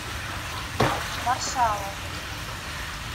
маршалов